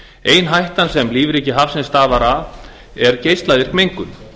ein hættan sem lífríki hafsins stafar af er geislavirk mengun